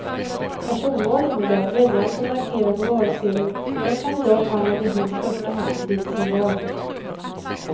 Personval innebär att väljaren får markera på valsedeln den kandidat han eller hon i första hand vill se vald.